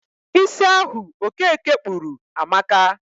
Isi ahu okeke kpuru amaka